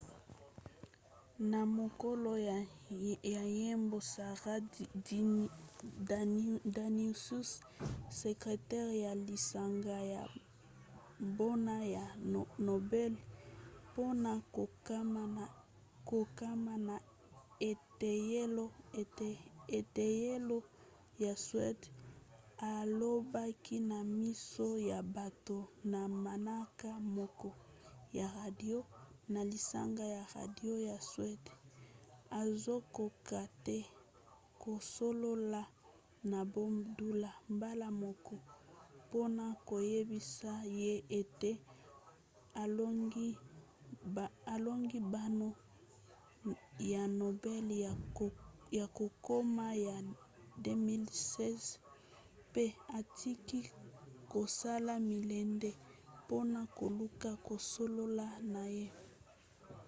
na mokolo ya yambo sara danius sekretere ya lisanga ya mbano ya nobel mpona kokoma na eteyelo ya suede alobaki na miso ya bato na manaka moko ya radio na lisanga ya radio ya suede azokoka te kosolola na bob dylan mbala moko mpona koyebisa ye ete alongi mbano ya nobel ya kokoma ya 2016 mpe atiki kosala milende mpona koluka kosolola na ye